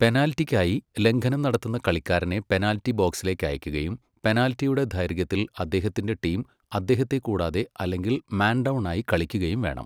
പെനാൽറ്റിക്കായി, ലംഘനം നടത്തുന്ന കളിക്കാരനെ പെനാൽറ്റി ബോക്സിലേക്ക് അയയ്ക്കുകയും പെനാൽറ്റിയുടെ ദൈർഘ്യത്തിൽ അദ്ദേഹത്തിന്റെ ടീം അദ്ദേഹത്തെ കൂടാതെ അല്ലെങ്കിൽ മാൻ ഡൗൺ ആയി കളിക്കുകയും വേണം.